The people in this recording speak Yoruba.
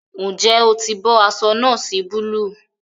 Njé o tí bó aṣọ noosi Búlúù?